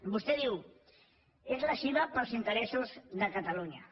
vostè diu és lesiva per als interessos de catalunya